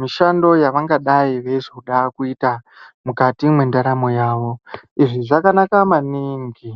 mishando yavangadai veizoda kuita mukati mwendaramo yavo izvi zvakanaka maningi.